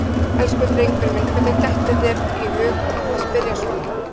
Elsku drengurinn minn, hvernig dettur þér í hug að spyrja svona!